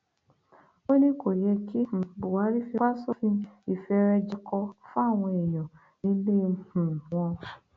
ó ní kò yẹ kí um buhari fipá sófin ìfẹrẹjẹkọ fáwọn èèyàn nílé um wọn